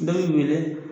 Dɔ b'i wele